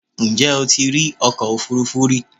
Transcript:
Ǹjẹ́ o ti rí ọkọ òfúrufú rí?